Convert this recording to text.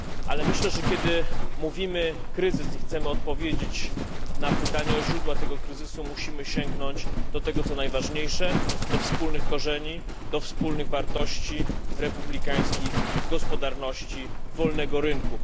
Ale myślę, że kiedy mówimy o kryzysie i chcemy odpowiedzieć na pytanie o źródła tego kryzysu, musimy sięgnąć do tego, co najważniejsze, do wspólnych korzeni, wartości republikańskich, gospodarczych i wolnego rynku.